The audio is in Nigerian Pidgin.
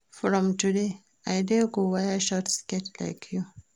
From today I go dey wear short skirt like you